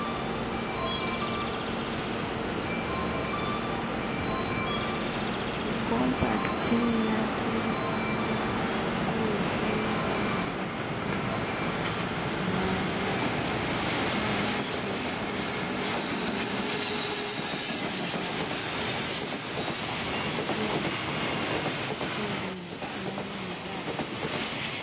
ikompacti yatulilemo buwuzi bwemugati mwayo bona kyitangala kyiliwo nga kyanabinzali